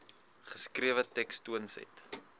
geskrewe teks toonset